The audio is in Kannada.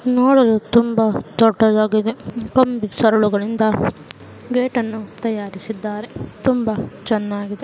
ನೋಡಲು ತುಂಬಾ ದೊಡ್ಡದಾಗಿದೆ ಕಂಬಿ ಸರಳುಗಳಿಂದ ಗೇಟ್ ಅನ್ನು ತಯಾರಿಸಿದ್ದಾರೆ ತುಂಬಾ ಚೆನ್ನಾಗಿದೆ.